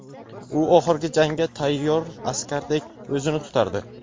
u oxirgi jangga tayyor askardek o‘zini tutardi.